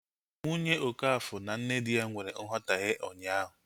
Nwunye okafor na nne di ya nwere nghotahie ụnyaahụ